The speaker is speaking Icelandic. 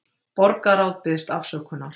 Borgarráð biðst afsökunar